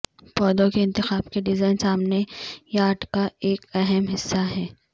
پودوں کے انتخاب کے ڈیزائن سامنے یارڈ کا ایک اہم حصہ ہے